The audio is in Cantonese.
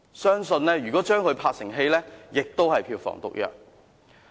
相信如果將之拍攝成電影，亦是票房毒藥。